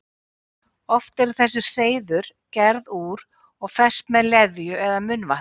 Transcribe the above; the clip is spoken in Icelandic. Oft eru þessi hreiður gerð úr og fest með leðju eða munnvatni.